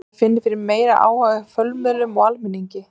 Maður finnur fyrir meiri áhuga hjá fjölmiðlum og almenningi.